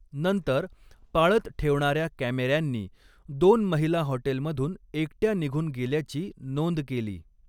नंतर, पाळत ठेवणाऱ्या कॅमेऱ्यांनी दोन महिला हॉटेलमधून एकट्या निघून गेल्याची नोंद केली.